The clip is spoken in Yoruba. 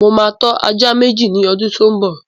Mo ma tọ́ ajá Méjì ní ọdún tó ḿ bọ̀